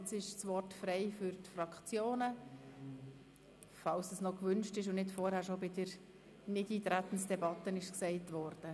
Das Wort ist frei für die Fraktionen, falls dies noch gewünscht wird und nicht alles bei der Nichteintretensdebatte vorgebracht wurde.